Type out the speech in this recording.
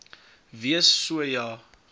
wees so ja